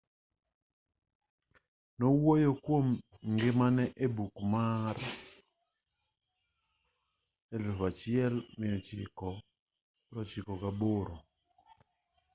nowuoyo kuom ngimane e buk mar 1998